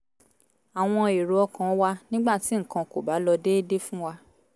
àwọn èrò ọkàn wa nígbà tí nǹkan kò bá lọ déédé fún wa